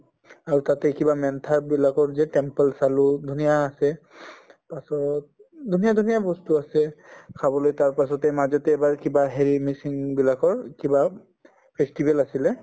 আৰু তাতে কিবা বিলাকৰ যে temple চালো ধুনীয়া আছে তাৰপাছত উম ধুনীয়া ধুনীয়া বস্তু আছে চাবলৈ তাৰ পাছতে মাজতে এবাৰ কিবা হেৰি বিলাকৰ কিবা festival আছিলে